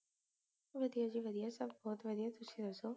ਵਧੀਆ ਜੀ ਵਧੀਆ ਸਭ ਬਹੁਤ ਵਧੀਆ ਤੁਸੀਂ ਦਸੋ